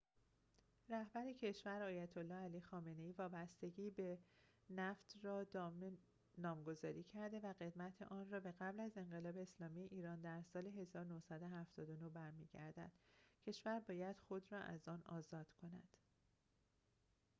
رهبر کشور آیت الله علی خامنه ای وابستگی به نفت را دام نامگذاری کرده که قدمت آن به قبل از انقلاب اسلامی ایران در سال ۱۹۷۹ برمی‌گردد کشور باید خود را از آن آزاد کند